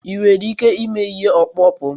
Ị nwere ike ịme ihe ọkpụkpụ m?